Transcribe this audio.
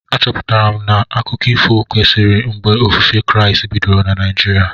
A chọpụtara m na akụkọ ifo kwesịrị mgbe ofufe Kraịst bidoro na Naijiria